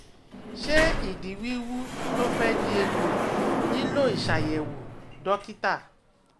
Ṣé ìdí wíwú tó fẹ́ di egbò nílò ìṣàyẹ̀wò dókítà?